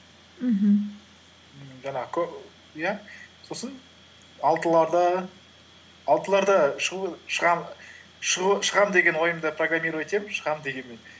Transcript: мхм жаңағы иә сосын алтыларда шығу шығам деген ойымда программировать етемін шығам дегенмен